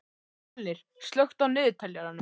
Fjölnir, slökktu á niðurteljaranum.